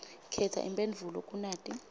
khetsa imphendvulo kunati